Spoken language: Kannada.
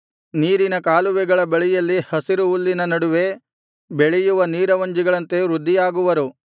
ನೀರಿನ ಕಾಲುವೆಗಳ ಬಳಿಯಲ್ಲಿ ಹಸಿರು ಹುಲ್ಲಿನ ನಡುವೆ ಬೆಳೆಯುವ ನೀರವಂಜಿಗಳಂತೆ ವೃದ್ಧಿಯಾಗುವರು